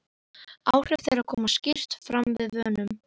Áhrif þeirra koma skýrt fram við vönun.